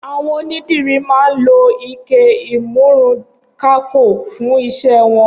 Awọn ónidiri mà n ló iké ìmùrúnkàkó fùn iṣẹ wọn